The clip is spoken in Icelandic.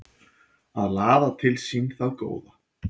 Að laða til sín það góða